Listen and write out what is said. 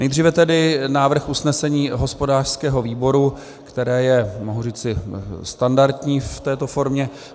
Nejdříve tedy návrh usnesení hospodářského výboru, které je, mohu říci, standardní v této formě: